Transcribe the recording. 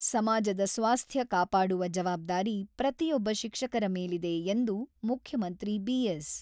ಸಮಾಜದ ಸ್ವಾಸ್ಥ್ಯ ಕಾಪಾಡುವ ಜವಾಬ್ದಾರಿ ಪ್ರತಿಯೊಬ್ಬ ಶಿಕ್ಷಕರ ಮೇಲಿದೆ ಎಂದು ಮುಖ್ಯಮಂತ್ರಿ ಬಿ.ಎಸ್.